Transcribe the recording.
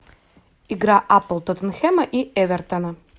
игра апл тоттенхэма и эвертона